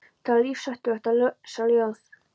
Það er lífshættulegt að lesa ljóð.